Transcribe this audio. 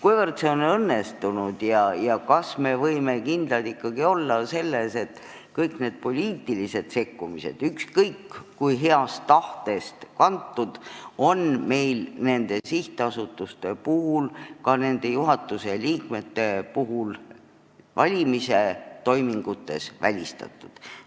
Kuivõrd see on õnnestunud ja kas me võime ikkagi kindlad olla selles, et kõik need poliitilised sekkumised, ükskõik kui heast tahtest kantud, on meil nende sihtasutuste puhul ja ka nende juhatuse liikmete valimise toimingute puhul välistatud?